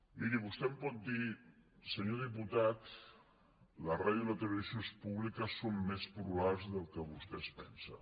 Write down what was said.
miri vostè em pot dir senyor diputat la ràdio i la televisió públiques són més plurals del que vostè es pensa